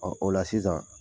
Ɔ o la sisan